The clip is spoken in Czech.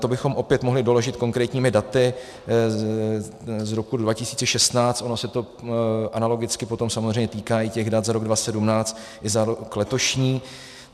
To bychom mohli opět doložit konkrétními daty z roku 2016, ono se to analogicky potom samozřejmě týká i těch dat za rok 2017 i za rok letošní.